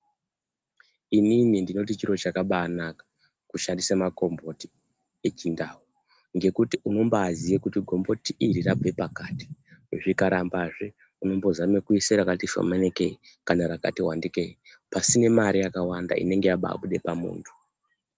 Inini ndinoti chiro chakabanaka kushandise makomboti echindau. Ngekuti unombe ziye kuti gomboti iri rabve pakati zvikarambazve unombozama kuisa rakati shomanikei kana rakati vandikei. Pasina mare yakawanda inenga yabuda pamuntu.